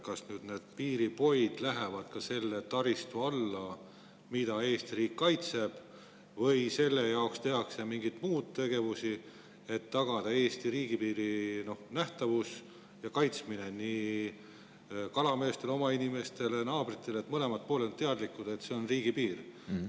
Kas need piiripoid lähevad ka nüüd selle taristu alla, mida Eesti riik kaitseb, või tehakse sellel puhul mingeid muid tegevusi, et tagada Eesti riigipiiri kaitsmine ja nähtavus kalameestele – nii oma inimestele kui ka naabritele –, nii et mõlemad pooled on teadlikud, et see on riigipiir?